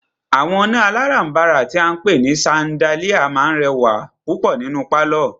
Àwọn iná alárànbàrà tí a ń pé ní ṣandáliá máà rẹwà púpọ̀ nínú pálọ̀.